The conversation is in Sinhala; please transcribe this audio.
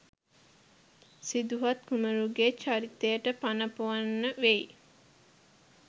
සිදුහත් කුමරුගෙ චරිතයට පණ පොවන්න වෙයි.